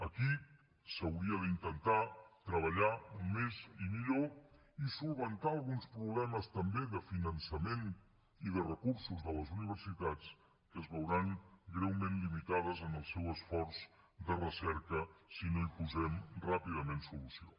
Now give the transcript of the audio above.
aquí s’hauria d’intentar treballar més i millor i solucionar alguns problemes també de finançament i de recursos de les universitats que es veuran greument limitades en el seu esforç de recerca si no hi posem ràpidament solució